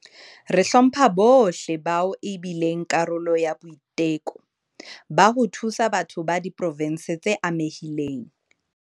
Re hlompha bohle bao e bileng karolo ya boiteko ba ho thusa batho ba diprovense tse amehileng.